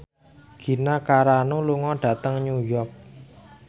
Gina Carano lunga dhateng New York